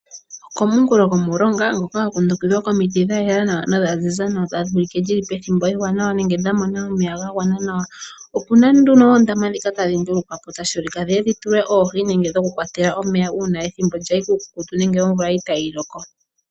Okomunkulo gomulonga ngoka gwa kundukithwa komiti dhayela nodhaziza nawa tadhi ulike dhili pethimbo eewanawa nenge dha mona omeya gagwana nawa. Opuna nduno ondama dhino tadhi ndulukwapo tashi vulika dhiye dhi tulwe oohi nenge dhoku kwatela omeya una ethimbo lyayi kuukukutu nenge omvula itayi loko.